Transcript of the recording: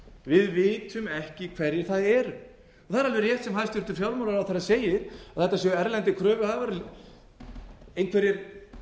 við vitum ekki hverjir það eru það er alveg rétt sem hæstvirtur fjármálaráðherra segir að þetta séu erlendir kröfuhafar einhverjir